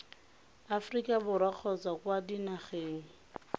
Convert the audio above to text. aforika borwa kgotsa kwa dinageng